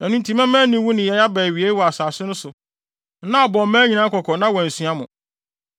“Ɛno nti mɛma aniwu nneyɛe aba awiei wɔ asase no so na abɔ mmaa nyinaa kɔkɔ na wɔansua mo.